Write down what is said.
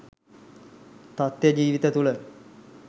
තථ්‍ය ජීවිත තුළ